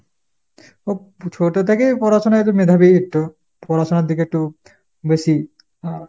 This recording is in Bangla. ও ছোটো থেকেই পড়াশুনায় তো মেধাবী একটু। পড়াশুনার দিকে একটু বেশি আহ